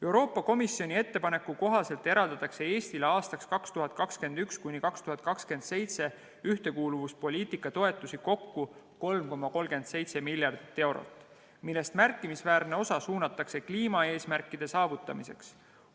Euroopa Komisjoni ettepaneku kohaselt eraldatakse Eestile aastaks 2021–2027 ühtekuuluvuspoliitika toetusi kokku 3,37 miljardit eurot, millest märkimisväärne osa suunatakse kliimaeesmärkide saavutamiseks.